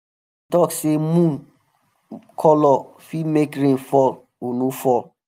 talk say moon um colour fit make rain fall or no fall.